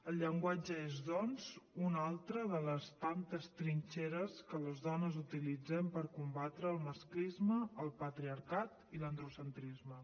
el llenguatge és doncs una altra de les tantes trinxeres que les dones utilitzem per combatre el masclisme el patriarcat i l’androcentrisme